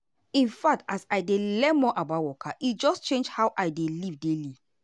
in fact as i dey learn more about waka e just change how i dey live daily.